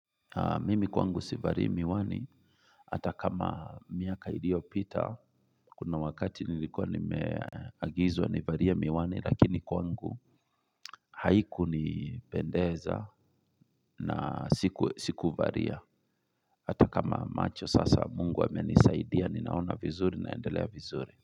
Mimi kwangu sivali miwani Hata kama miaka iliyo pita kuna wakati nilikuwa nimeagizwa ni valie miwani lakini kwangu haiku ni pendeza na siku valia Hata kama macho sasa mungu amenisaidia ninaona vizuri naendelea vizuri.